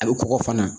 A bɛ kɔgɔ fana